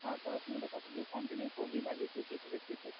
আহ পড়াশোনাটা কতদূর continue করবি বা কিছু কি ভেবেছিস সে সম্পর্কে?